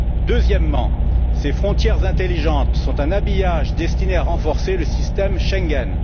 Deuxièmement, ces frontières intelligentes sont un habillage destiné à renforcer le système Schengen.